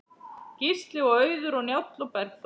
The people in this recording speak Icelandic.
Gísli og Auður og Njáll og Bergþóra.